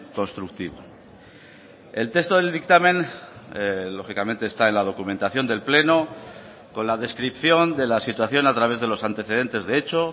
constructivo el texto del dictamen lógicamente está en la documentación del pleno con la descripción de la situación a través de los antecedentes de hecho